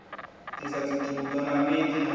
disa dzithudwa na mbidi na